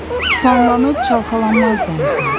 Tufanlanıb çalxalanmaz dənizim.